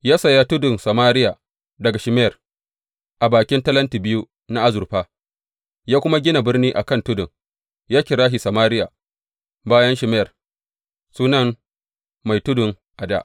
Ya saya tudun Samariya daga Shemer, a bakin talentin biyu na azurfa, ya kuma gina birni a kan tudun, ya kira shi Samariya, bayan Shemer, sunan mai tudun a dā.